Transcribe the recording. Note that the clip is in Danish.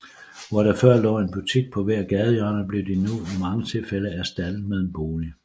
Hvor der før lå en butik på hvert gadehjørne blev de nu i mange tilfælde erstattet med en bolig